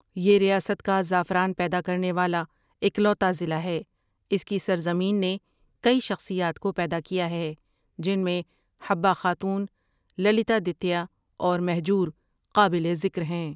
یہ ریاست کا زعفران پیدا کرنے والا اکلوتا ضلع ہے اس کی سرزمین نے کئی شخصیات کو پیدا کیا ہے جن میں حبہ خاتون، للتا دتیا اور مہجور قابلِ ذکر ہیں۔